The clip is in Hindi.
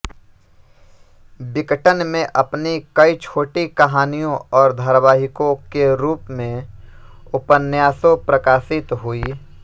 विकटन में अपनी कई छोटी कहानियों और धारावाहिकों के रूप में उपन्यासों प्रकाशित हुई